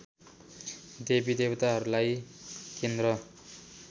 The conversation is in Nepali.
देवी देवताहरूलाई केन्द्र